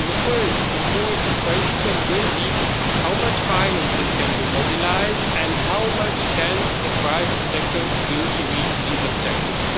The first important question will be, how much financing can we mobilise and how much can the private sector do to reach these objectives?